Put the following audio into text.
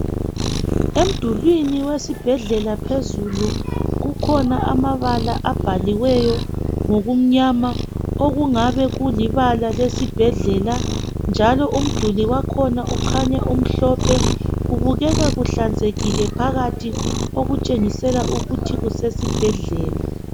Emdulwini wesibhedlela phezulu kukhona amabala abhaliweyo ngokumnyama okungabe kulibala lesibhedlela njalo umduli wakhona kukhanya umhlophe kubukeka kuhlanzekile phakathi okutshengisela ukuthi kusesibhedlela.